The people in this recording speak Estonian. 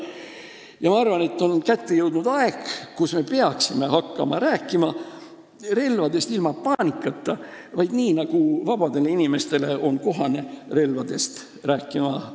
Ja ma arvan, et kätte on jõudnud aeg, kui me peaksime hakkama rääkima relvadest ilma paanikata – nii nagu vabadele inimestele on kohane relvadest rääkida.